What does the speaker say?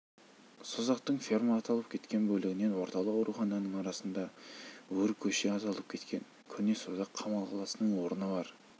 созақтың ферма аталып кеткен бөлігінен орталық аурухананың арасында өркөше аталып кеткен көне созақ қамал қаласының орны бар